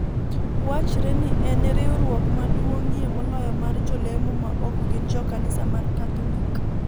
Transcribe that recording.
Wachre ni en e riwruok maduong'ie moloyo mar jolemo maok gin jo kanisa mar Katholik.